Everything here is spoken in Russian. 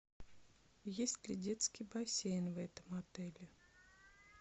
есть ли детский бассейн в этом отеле